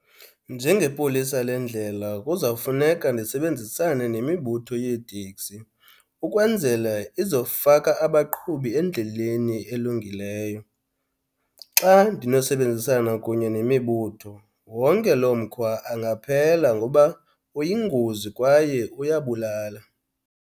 Njengepolisa lendlela kuzawufuneka ndisebenzisane nemibutho yeeteksi ukwenzela izofaka abaqhubi endleleni elungileyo. Xa ndinosebenzisana kunye nemibutho wonke lo mkhwa angaphela ngoba uyingozi kwaye uyabulala.